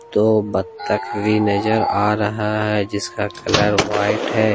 दो बत्तख भी नजर आ रहा है जिसका कलर व्हाइट है।